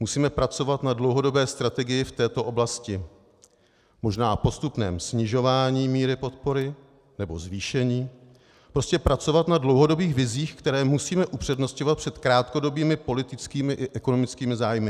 Musíme pracovat na dlouhodobé strategii v této oblasti, možná postupném snižování míry podpory nebo zvýšení, prostě pracovat na dlouhodobých vizích, které musíme upřednostňovat před krátkodobými politickými i ekonomickými zájmy.